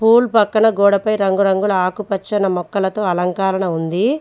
Pool పక్కన గోడపై రంగురంగుల ఆకు పచ్చని మొక్కలతో అలంకారణ ఉంది.